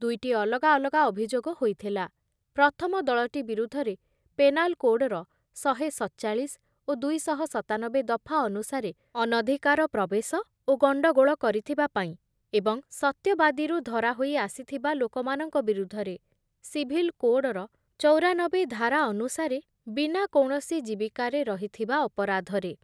ଦୁଇଟି ଅଲଗା ଅଲଗା ଅଭିଯୋଗ ହୋଇଥିଲା, ପ୍ରଥମ ଦଳଟି ବିରୁଦ୍ଧରେ ପେନାଲକୋଡ଼ର ଶହେ ସତଚାଳିଶ ଓ ଦୁଇ ଶହ ସତାନବେ ଦଫା ଅନୁସାରେ ଅନଧିକାର ପ୍ରବେଶ ଓ ଗଣ୍ଡଗୋଳ କରିଥିବା ପାଇଁ ଏବଂ ସତ୍ୟବାଦୀରୁ ଧରାହୋଇ ଆସିଥିବା ଲୋକମାନଙ୍କ ବିରୁଦ୍ଧରେ ସିଭିଲ କୋଡ଼ର ଚୌରାନବେ ଧାରା ଅନୁସାରେ ବିନା କୌଣସି ଜୀବିକାରେ ରହିଥିବା ଅପରାଧରେ ।